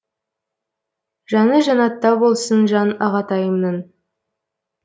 жаны жәннатта болсын жан ағатайымның